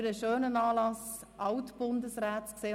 Es ist immer ein schöner Anlass, um Alt-Bundesräte zu treffen.